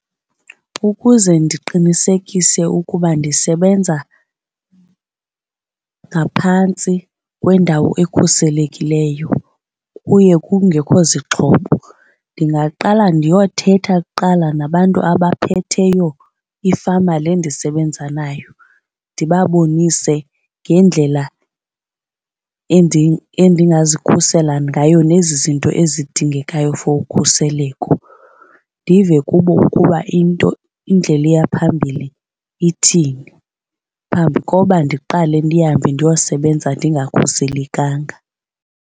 Ukuze ndiqinisekise ukuba ndisebenza ngaphantsi kwendawo ekhuselekileyo kuye kungekho zixhobo ndingaqala ndiyothetha kuqala nabantu abaphetheyo ifama le ndisebenza nayo ndibabonise ngendlela endingazikhusela ngayo nezi zinto ezidingekayo for ukhuseleko ndive kubo ukuba into indlela eya phambili ithini phambi koba ndiqale ndihambe ndiyosebenza ndingakhuselekanga.